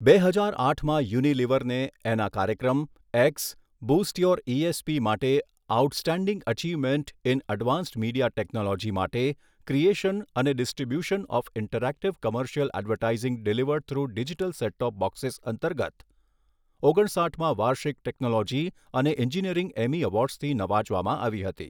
બે હજાર આઠમાં યુનિલિવરને એના કાર્યક્રમ એક્સઃ બુસ્ટ યોર ઈએસપી માટે outstanding achievement in advance media technology માટે ક્રિયેશન અને distribution of interactive commercial advertising delivered through digital set top boxes અંતર્ગત ઓગણસાઠમા વાર્ષિક ટેક્નોલોજી અને એન્જિનીયરિંગ એમ્મી અવોર્ડઝથી નવાજવામાં આવી હતી.